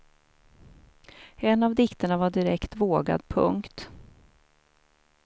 En av dikterna var direkt vågad. punkt